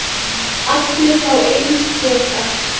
Allir fá eins poka.